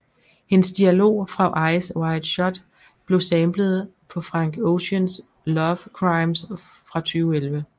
Hendes dialog fra Eyes Wide Shut blevet samplet på Frank Oceans Love Crimes fra 2011